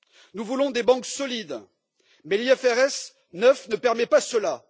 Nous voulons des banques solides, mais l'IFRS 9 ne permet pas cela.